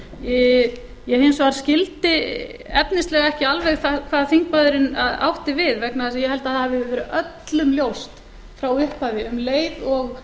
mínu ég hins vegar skildi efnislega ekki alveg hvað þingmaðurinn átti við vegna þess að ég held að það hafi verið öllum ljóst frá upphafi um leið og